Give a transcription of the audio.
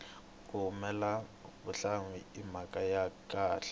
ku hulela vuhlalu i mhaka ya khale